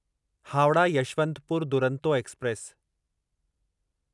Howrah Yesvantpur Duronto express